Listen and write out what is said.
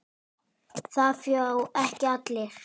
Það fá ekki allir.